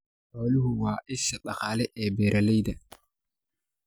Xooluhu waa isha dhaqaale ee beeralayda.